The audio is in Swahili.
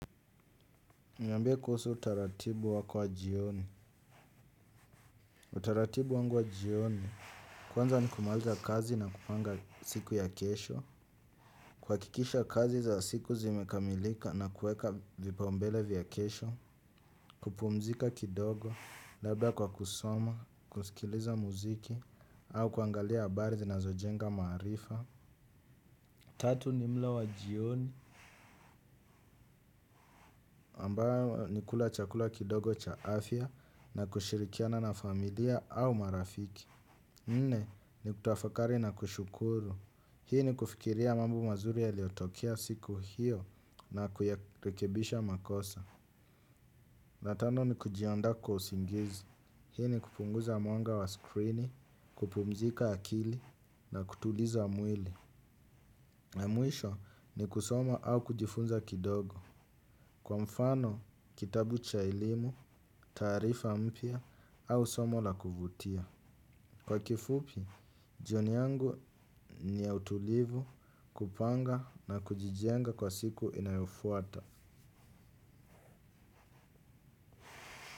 Niambie kuhusu utaratibu wako wa jioni. Utaratibu wangu wa jioni, kwanza ni kumalika kazi na kupanga siku ya kesho. Kwa hakikisha kazi za siku zimekamilika na kuweka vipaumbele vya kesho. Kupumzika kidogo, labda kwa kusoma, kusikiliza muziki, au kuangalia habari zinazojenga maarifa. Tatu ni mlo wa jioni. Ambayo ni kula chakula kidogo cha afya na kushirikiana na familia au marafiki. Nne ni kutafakari na kushukuru. Hii ni kufikiria mambo mazuri yaliyotokea siku hiyo na kuyarekebisha makosa. Na tano ni kujiandaa kwa usingizi. Hii ni kupunguza mwanga wa screeni, kupumzika akili na kutuliza mwili. Na mwisho ni kusoma au kujifunza kidogo. Kwa mfano, kitabu cha elimu, taarifa mpya au somo la kuvutia. Kwa kifupi, jioni yangu ni ya utulivu kupanga na kujijenga kwa siku inayofuata.